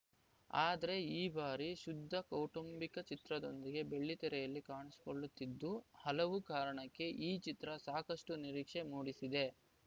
ಆದ್ರೆ ಈ ಬಾರಿ ಶುದ್ಧ ಕೌಟುಂಬಿಕ ಚಿತ್ರದೊಂದಿಗೆ ಬೆಳ್ಳಿತೆರೆಯಲ್ಲಿ ಕಾಣಿಸಿಕೊಳ್ಳುತ್ತಿದ್ದು ಹಲವು ಕಾರಣಕ್ಕೆ ಈ ಚಿತ್ರ ಸಾಕಷ್ಟುನಿರೀಕ್ಷೆ ಮೂಡಿಸಿದೆ